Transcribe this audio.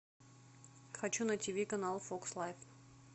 хочу на тиви канал фокс лайф